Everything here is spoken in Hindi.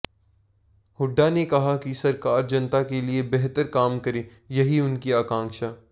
हुड्डा ने कहा कि सरकार जनता के लिए बेहतर काम करे यही उनकी आकांक्षा